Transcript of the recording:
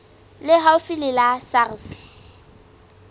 le haufi le la sars